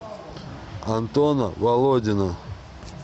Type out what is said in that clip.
антона володина